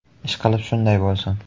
Ishqilib shunday bo‘lsin.